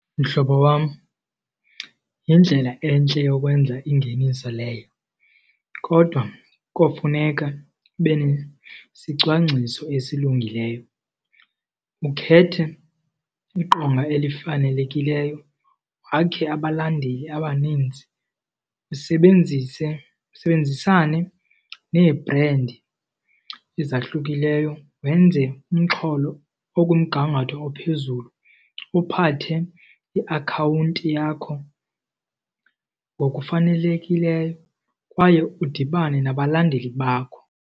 Mhlobo wam, yindlela entle yokwenza ingeniso leyo kodwa kofuneka ube nesicwangciso esilungileyo ukhethe iqonga elifanelekileyo, wakhe abalandeli abaninzi, usebenzise usebenzisane nee-brand ezahlukileyo, wenze umxholo okumgangatho ophezulu. Uphathe iakhawunti yakho ngokufanelekileyo kwaye udibane nabalandeli bakho.